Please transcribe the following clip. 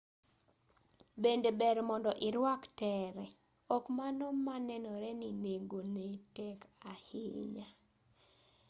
bende ber mondo irwak tere ok mano ma nenore ni nengone tek ahinya